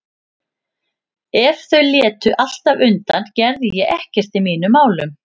Ef þau létu alltaf undan gerði ég ekkert í mínum málum.